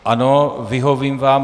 Ano, vyhovím vám.